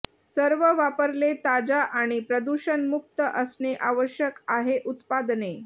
सर्व वापरले ताजा आणि प्रदूषण मुक्त असणे आवश्यक आहे उत्पादने